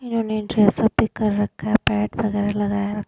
इन्होंने dress up भी कर रखा है पैट वगैरह लगाया।